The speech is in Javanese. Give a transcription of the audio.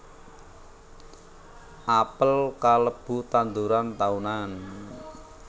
Apel kalebu tanduran taunan